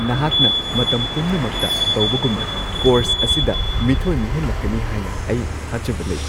ꯅꯍꯥꯛꯅ ꯃꯇꯝ ꯄꯨꯝꯅꯃꯛꯇ ꯇꯧꯕꯒꯨꯝꯅ ꯀꯣꯔꯁ ꯑꯁꯤꯗ ꯃꯤꯊꯣꯏ ꯃꯤꯍꯦꯟꯂꯛꯀꯅꯤ ꯍꯥꯏꯅ ꯑꯩ ꯊꯥꯖꯕ ꯂꯩ ꯫